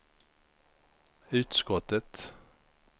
utskottet